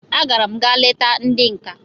I gara'm ga leta ndi nka